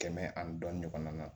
Kɛmɛ ani dɔɔnin ɲɔgɔn na